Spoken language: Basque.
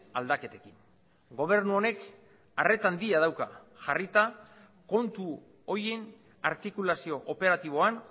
aldaketekin gobernu honek arreta handia dauka jarrita kontu horien artikulazio operatiboan